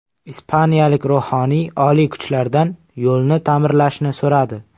Ispaniyalik ruhoniy oliy kuchlardan yo‘lni ta’mirlashni so‘radi.